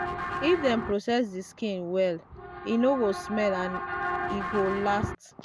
if dem process the skin well e no go smell and e go last